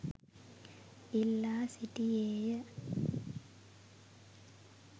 ඉල්ලා සිටියේය